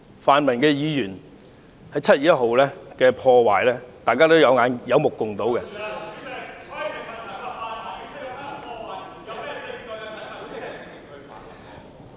泛民議員在7月1日進行的破壞，大家有目共睹......